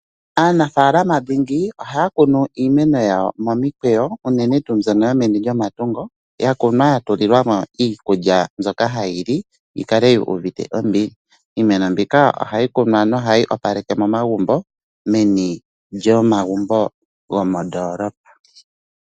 Aanafaalama dhingi ohaya kunu iimeno yawo momikweyo, unene tuu mbyono yomeni lyomatungo, ya kunwa ya tulilwa mo iikulya mbyoka hayi li yi kale yu uvite ombili. Iimeno mbika ohayi kunwa nohayi opaleke momagumbo meni lyomagumbo gomondoolopa.